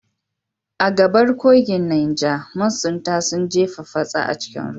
A gabar kogin Neja, masunta sun jefa fatsa a cikin ruwa.